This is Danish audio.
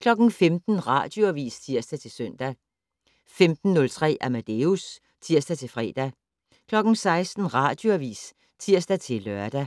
15:00: Radioavis (tir-søn) 15:03: Amadeus (tir-fre) 16:00: Radioavis (tir-lør)